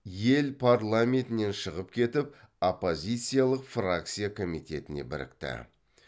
ел парламентінен шығып кетіп оппозициялық фракция комитетіне бірікті